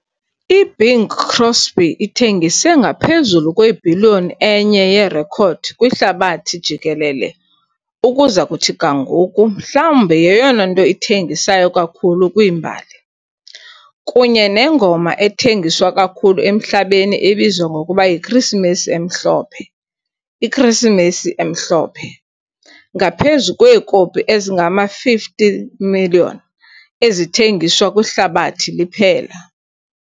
IBing Crosby ithengise ngaphezulu kwebhiliyoni enye yerekhodi kwihlabathi jikelele ukuza kuthi ga ngoku mhlawumbi yeyona nto ithengisayo kakhulu kwimbali, kunye nengoma ethengiswa kakhulu emhlabeni ebizwa ngokuba yiKrisimesi emhlophe, " iKrisimesi emhlophe, ", ngaphezu kweekopi ezingama-50, 000 000 ezithengiswa kwihlabathi liphela.